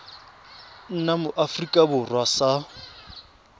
nna mo aforika borwa sa